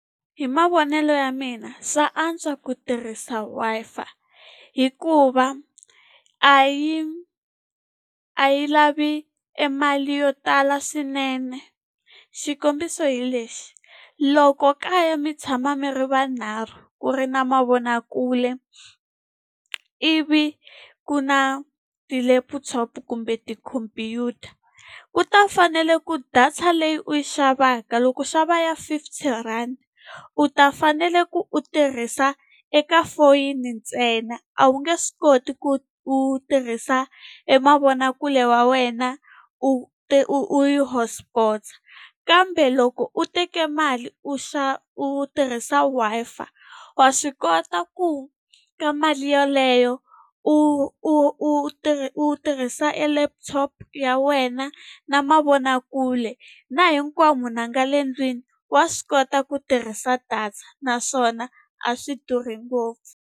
Hi mavonelo ya mina swa antswa ku tirhisa Wi-Fi hikuva a yi a yi lavi e mali yo tala swinene. Xikombiso hi lexi, loko ka ya mi tshama mi ri vanharhu ku ri na mavonakule, ivi ku na ti-laptop kumbe tikhompyuta, ku ta fanele ku data leyi u yi xavaka, loko u xava ya fifty rand u ta fanele ku u tirhisa eka foyini ntsena. A wu nge swi koti ku u tirhisa e mavonakule wa wena, u u u yi hotspot-a. Kambe loko u teke mali u u tirhisa Wi-Fi, wa swi kota ku ka mali yoleyo, u u u u tirhisa e laptop ya wena, na mavonakule, na hinkwavo munhu a nga le ndlwini wa swi kota ku tirhisa data naswona a swi durhi ngopfu.